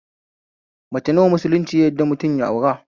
Mace nawa musulunci ya yadda mutum ya aura?